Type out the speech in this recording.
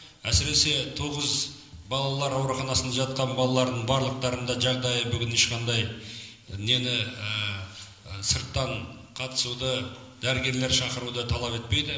әсіресе тоғыз балалар ауруханасында жатқан балалардың барлықтарының да жағдайы бүгін ешқандай нені сырттан қатысуды дәрігерлер шақыруды талап етпейді